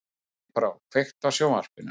Snæbrá, kveiktu á sjónvarpinu.